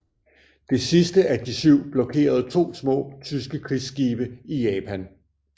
Det sidste af de syv blokerede to små tyske krigsskibe i Japan